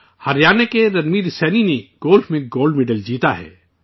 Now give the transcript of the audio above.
ہریانہ کے رنویر سینی نے گولف میں گولڈ میڈل جیتا ہے